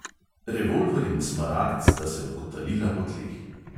Revolver in smaragd sta se odkotalila po tleh.